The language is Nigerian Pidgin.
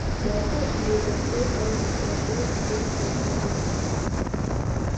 Na so she dey complain all the time, dust full everywhere.